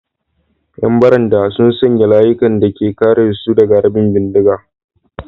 ‘Yan barandan sun sanya layukan da ke kare su daga harbin bindiga.